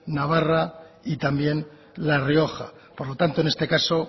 navarra y también la rioja por lo tanto en este caso